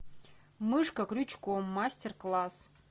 мышка крючком мастер класс